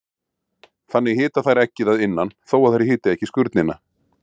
Þannig hita þær eggið að innan þó að þær hiti ekki skurnina.